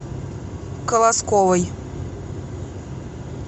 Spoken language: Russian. колосковой